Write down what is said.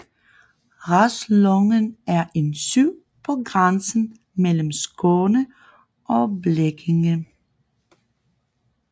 Raslången er en sø på grænsen mellem Skåne og Blekinge